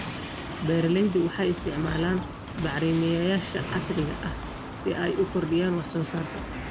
Beeraleydu waxay isticmaalaan bacrimiyeyaasha casriga ah si ay u kordhiyaan wax soo saarka.